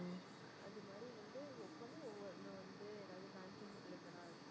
அது மாதிரி வந்து ஒவ்வொன்னும் இந்த மாதிரி வந்து ஏதாவது banking related ஆ இருக்கும்.